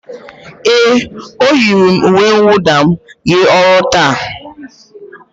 Éè, e yiri m uwe nwụda m jee ọrụ taata